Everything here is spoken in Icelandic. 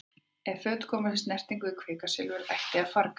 Ef föt komast í snertingu við kvikasilfur ætti að farga þeim.